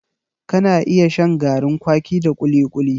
Ka na iya shan garin kwaki da kuli-kuli